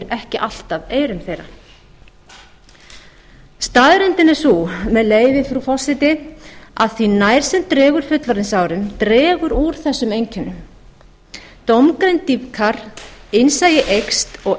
ekki alltaf eyrum þeirra staðreyndin er sú með leyfi frú forseti að því nær sem dregur fullorðinsárum dregur úr þessum einkennum dómgreind minnkar innsæi eykst og